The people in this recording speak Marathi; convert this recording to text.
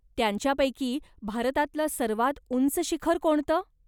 त्यांच्यापैकी भारतातलं सर्वात उंच शिखर कोणतं?